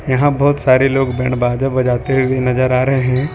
यहां बहोत सारे लोग बैंड बाजा बजाते हुए नजर आ रहे हैं।